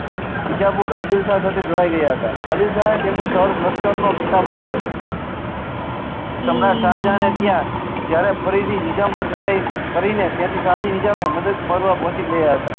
બીજાપુર આદીલ શાહ સાથે જોડાઈ ગયા હતા આદીલ શાહ ને તેમને સોર્ય વસ્ત નો ખિતાબ આપેલો સમ્રાટ શાહજહાં ને ત્યાં જયારે ફરી થી નિઝામ પર ચડાયી કરી ને ત્યાર થી શાહ ની નીજામે મદદ કરવા પોકી ગય્યા હતા